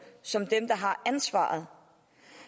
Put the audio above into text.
som dem der har ansvaret